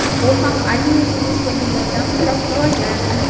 U ham Aliya Yunusovaga yordam so‘rab murojaat qilgan.